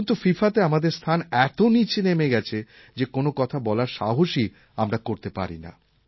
এখন তো ফিফাতে আমাদের স্থান এত নীচে নেমে গেছে যে কোনও কথা বলার সাহসই আমরা করতে পারি না